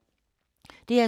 DR2